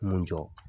Mun jɔ